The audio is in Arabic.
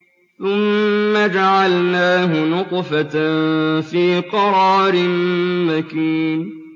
ثُمَّ جَعَلْنَاهُ نُطْفَةً فِي قَرَارٍ مَّكِينٍ